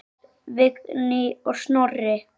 Páll, Vignir og Snorri.